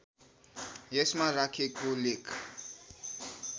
यसमा राखेको लेख